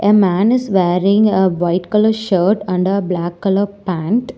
The man is wearing a white colour shirt and a black colour pant.